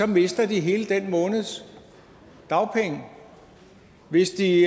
mister de hele den måneds dagpenge hvis de